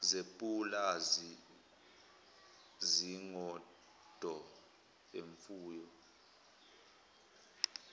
zepulazi izingodo imfuyo